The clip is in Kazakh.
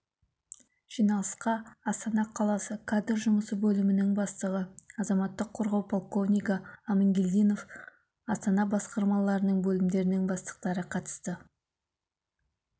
жиналысқа астана қаласы кадр жұмысы бөлімінің бастығы азаматтық қорғау полковнигі амангельдинов астана басқармаларының бөлімдерінің бастықтары қатысты